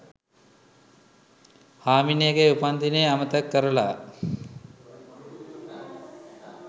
හාමිනේගෙ උපන්දිනේ අමතක කරලා